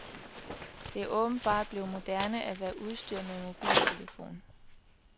Det er åbenbart blevet moderne at være udstyret med en mobiltelefon.